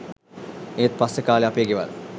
ඒත් පස්සේ කා‍ලේ අපේ ගෙවල්